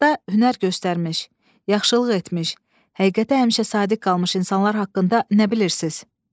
Həyatda hünər göstərmiş, yaxşılıq etmiş, həqiqətə həmişə sadiq qalmış insanlar haqqında nə bilirsiz?